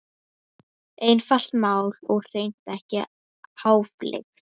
Einfalt mál og hreint ekki háfleygt.